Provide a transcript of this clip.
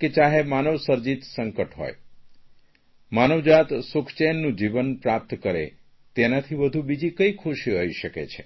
કે ચાહે માનવસર્જિત સંકટ હોય માનવ જપ્ત સુખચેનનું જીવન પ્રાપ્ત કરે તેનાથી વધુ બીજી કઇ ખુશી હોઇ શકે છે